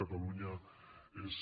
catalunya és